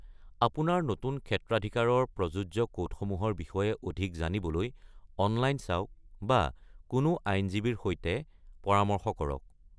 আপোনাৰ নতুন ক্ষেত্ৰাধিকাৰৰ প্ৰযোজ্য কোডসমূহৰ বিষয়ে অধিক জানিবলৈ অনলাইন চাওক বা কোনো আইনজীৱীৰ সৈতে পৰামৰ্শ কৰক।